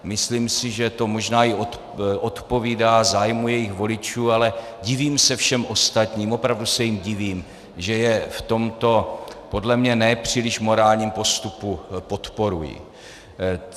Myslím si, že to možná i odpovídá zájmu jejich voličů, ale divím se všem ostatním, opravdu se jim divím, že je v tomto podle mne nepříliš morálním postupu podporují.